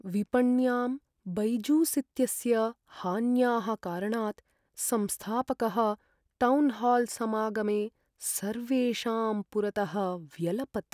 विपण्यां बैजूस् इत्यस्य हान्याः कारणात् संस्थापकः टौन्हाल्समागमे सर्वेषां पुरतः व्यलपत्।